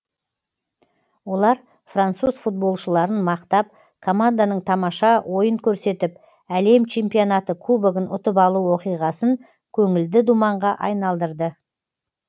олар француз футболшыларын мақтап команданың тамаша ойын көрсетіп әлем чемпионаты кубогын ұтып алу оқиғасын көңілді думанға айналдырды